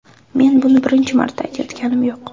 Men buni birinchi marta aytayotganim yo‘q.